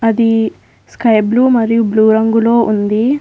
The sky blue మరియు blue రంగులో ఉంది.